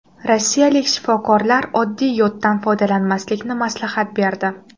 Rossiyalik shifokorlar oddiy yoddan foydalanmaslikni maslahat berdi.